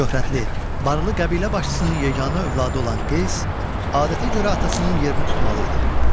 Şöhrətli, barlı qəbilə başçısının yeganə övladı olan Qeys adətə görə atasının yerini tutmalı idi.